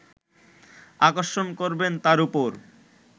আকর্ষণ করবেন তার ওপর